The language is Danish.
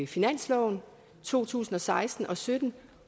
finansloven to tusind og seksten og sytten